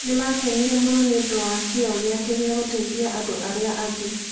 Nĩ maakenire mũno nĩ ũndũ wa kĩyo gĩake gĩa gũteithia andũ arĩa angĩ.